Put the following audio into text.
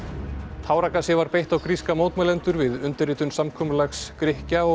táragasi var beitt á gríska mótmælendur við undirritun samkomulags Grikkja og